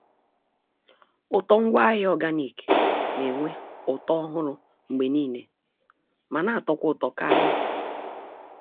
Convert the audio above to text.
Ụtọ ngwaahịa organic n'enwe ụtọ ọhụrụ mgbe niile ma n'atọkwa ụtọ karị.